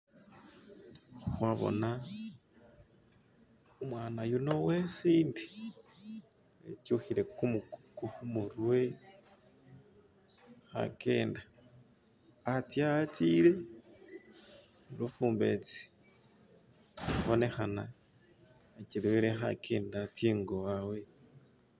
Khwabona umwana yuno wesinde etyukhike khumurwe khagenda hatse hatsile khabonekhana khachelewele khajenda atsengo wawe